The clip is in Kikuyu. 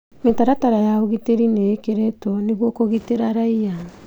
Mĩtaratara ya ũgitĩri nĩĩkĩrĩtwo nĩguo kũgitĩra raia